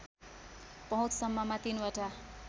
पहुँचसम्ममा ३ वटा